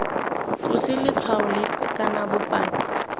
tlose letshwao lepe kana bopaki